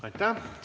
Aitäh!